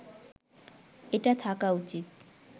এটা থাকা উচিত